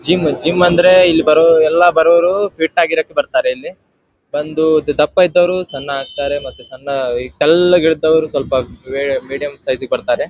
Gym gym ಅಂದ್ರೆ ಇಲ್ ಬರೋವರು ಎಲ್ಲ ಬರೋವ್ರು ಫಿಟ್ ಆಗೋಕೆ ಬರ್ತಾರೆ ಇಲ್ಲಿ ದಪ್ಪ ಇದ್ದೋರು ಸಣ್ಣ ಆಗ್ತಾರೆ ಮತ್ತೆ ತೆಳ್ಳ ಇರೋರು ಮೀಡಿಯಂ ಸೈಜ್ ಗೆ ಬರ್ತಾರೆ.